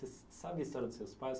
Você sabe a história dos seus pais?